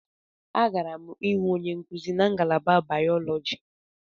Agara m ịhụ onye nkuzi na ngalaba Bayọlọji.